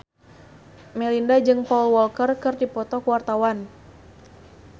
Melinda jeung Paul Walker keur dipoto ku wartawan